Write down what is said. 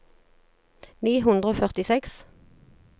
ni hundre og førtiseks